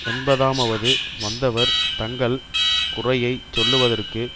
எண்பதமாவது வந்தவர் தங்கள் குறையை சொல்லுதற்கு